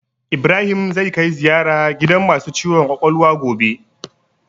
Ibrahim zai kai ziyara gidan masu ciwon kwakwalwa gobe